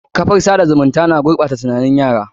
Kafar tsada zumunta na gurɓata tunanin yara.